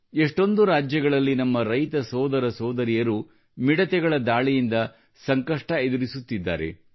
ಎಷ್ಟೊಂದು ರಾಜ್ಯಗಳಲ್ಲಿ ನಮ್ಮ ರೈತ ಸೋದರ ಸೋದರಿಯರು ಮಿಡತೆಗಳ ದಾಳಿಯಿಂದ ಸಂಕಷ್ಟ ಎದುರಿಸುತ್ತಿದ್ದಾರೆ